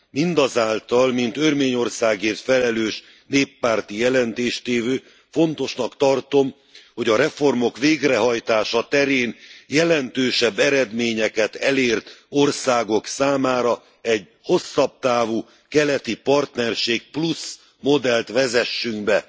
Mindazonáltal mint Örményországért felelős néppárti előadó fontosnak tartom, hogy a reformok végrehajtása terén jelentősebb eredményeket elérő országok számára egy hosszabb távú keleti partnerség modellt vezessünk be.